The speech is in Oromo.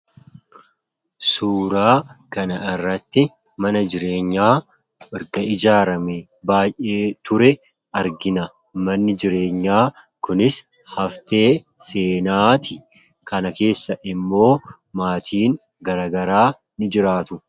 Suuraa kana irratti mana jireenyaa ergaa ijaarame baay'ee ture argina. Manni jireenyaa kunis haftee seenaati kana keessa immoo maatiin garagaraa ni jiraatu.